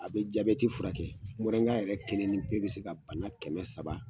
A bɛ jabɛti furakɛ mɔrɛnga yɛrɛ kelen ni pe bɛ se ka bana kɛmɛ saba.